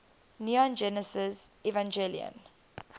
neon genesis evangelion